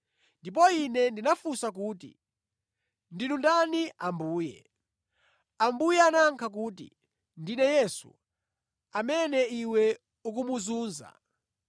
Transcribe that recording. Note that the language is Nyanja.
Ndipo ine ndinafunsa kuti, “Ndinu ndani Ambuye?” Ambuye anayankha kuti, “Ndine Yesu, amene iwe ukumuzunza.